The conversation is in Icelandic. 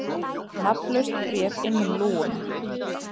Nafnlaust bréf inn um lúguna